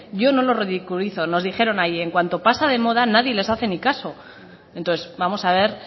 yo no lo ridiculizo nos dijeron allí en cuanto pasa de moda nadie les hace ni caso entonces vamos a ver